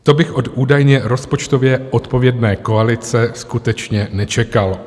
To bych od údajně rozpočtově odpovědné koalice skutečně nečekal.